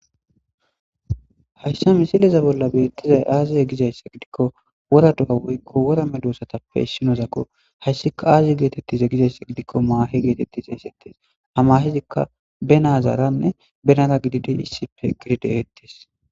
Haysa missileza bola betizay aze gizaysa gidiko wora do'a woyko wora medosasape issinozako haysika aze getetize gizaysa gidiko mahe geteti xesetes ha mahezika be nazaranne benara gididi issipe eqidi de'etes.